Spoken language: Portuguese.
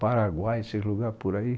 Paraguai, esses lugares por aí.